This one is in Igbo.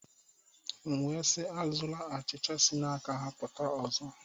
M'we si, ejila achicha si n'aka-ha puta ọzọ.